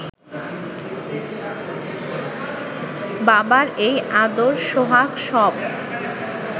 বাবার এই আদর সোহাগ সব